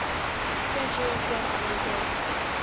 century census records